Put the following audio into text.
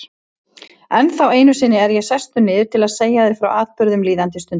Ennþá einu sinni er ég sestur niður til að segja þér frá atburðum líðandi stundar.